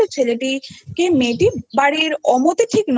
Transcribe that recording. ছেলেটিকে মেয়েটি বাড়ির অমতে ঠিক নয়